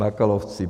Bakalovci.